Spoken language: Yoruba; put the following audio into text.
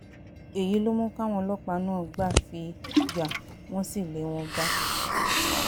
èyí ló mú káwọn ọlọ́pàá náà gbà fi yà wọ́n wọ́n sì lé wọn bá